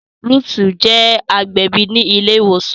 Ruth je agbẹbi ní ile ìwòsàn